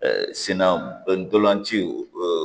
sinna ntolanci